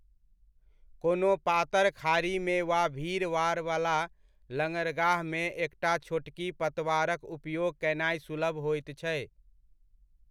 कोनो पातर खाड़ीमे वा भीड़भाड़वला लङ्गरगाहमे एकटा छोटकी पतवारक उपयोग कयनाय सुलभ होइत छै।